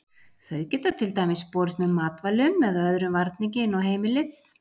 Þau geta til dæmis borist með matvælum eða öðrum varningi inn á heimilið.